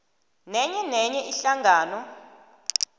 nenye nenye ihlangano